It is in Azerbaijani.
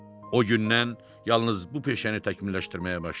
O gündən yalnız bu peşəni təkmilləşdirməyə başladı.